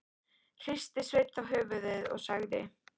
Hristi Sveinn þá höfuðið og sagði